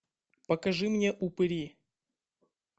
покажи мне упыри